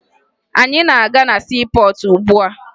Anyị na-aga na siipọọtụ ugbua